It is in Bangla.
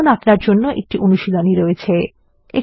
এখন আপনার জন্য একটি অনুশীলনী রয়েছে